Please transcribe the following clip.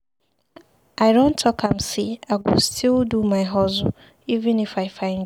I don talk am sey I go still do my hustle even if I find job.